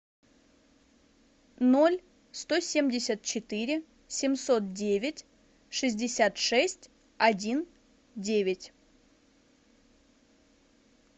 ноль сто семьдесят четыре семьсот девять шестьдесят шесть один девять